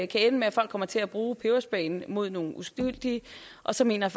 kan ende med at folk kommer til at bruge pebersprayen mod nogle uskyldige og så mener